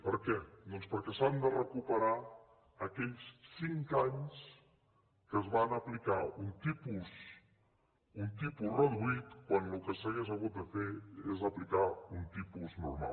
per què doncs perquè s’han de recuperar aquells cinc anys en què es va aplicar un tipus reduït quan el que s’hauria hagut de fer és aplicar un tipus normal